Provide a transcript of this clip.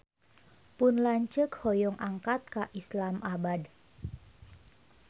Pun lanceuk hoyong angkat ka Islamabad